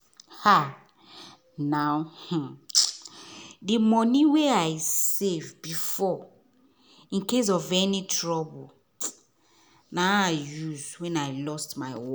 um na um the money wen i save before in case of any trouble na i use wen i lost my work